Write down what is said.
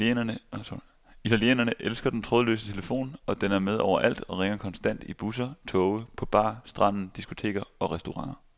Italienerne elsker den trådløse telefon, og den er med overalt og ringer konstant i busser, toge, på bar, stranden, diskoteker og restauranter.